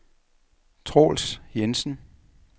Troels Jensen